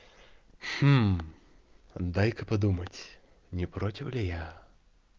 дай-ка подумать не против ли я